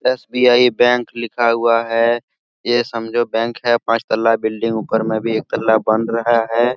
SBI bank लिखा हुआ है ये समझो बैंक है पांच तला बिल्डिंग ऊपर में भी एक तला बन रहा है।